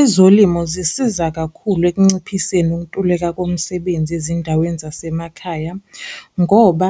Ezolimo zisiza kakhulu ekunciphiseni ukuntuleka komsebenzi ezindaweni zasemakhaya, ngoba